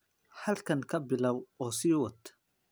Halkaan ka bilow oo sii wad.